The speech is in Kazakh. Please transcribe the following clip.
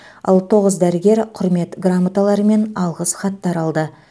ал тоғыз дәрігер құрмет грамоталары мен алғыс хаттар алды